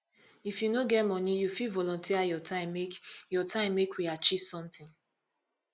if you no get money you fit volunteer your time make your time make we achieve sometin